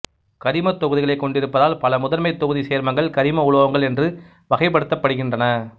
கரிமத் தொகுதிகளைக் கொண்டிருப்பதால் பல முதன்மைத் தொகுதி சேர்மங்கள் கரிம உலோகங்கள் என்று வகைப்படுத்தப்படுகின்றன